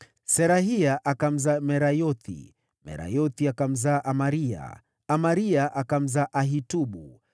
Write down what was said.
Zerahia akamzaa Merayothi, Merayothi akamzaa Amaria, Amaria akamzaa Ahitubu,